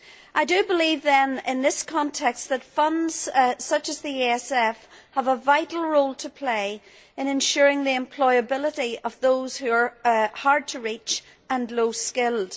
I do believe, then, in this context, that funds such as the ESF have a vital role to play in ensuring the employability of those who are hard to reach and low skilled.